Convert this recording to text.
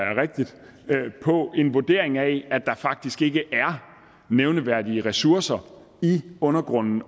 det baserer på en vurdering af at der faktisk ikke er nævneværdige ressourcer i undergrunden